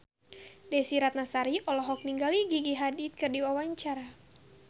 Desy Ratnasari olohok ningali Gigi Hadid keur diwawancara